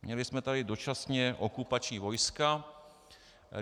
Měli jsme tady dočasně okupační vojska.